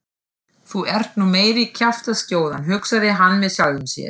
Þú ert nú meiri kjaftaskjóðan hugsaði hann með sjálfum sér.